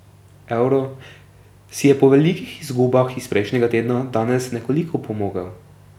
Evro si je po velikih izgubah iz prejšnjega tedna danes nekoliko opomogel.